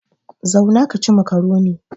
Zauna ka ci makaroni!